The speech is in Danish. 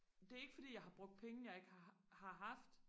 det er ikke fordi jeg har brugt penge jeg ikke har har haft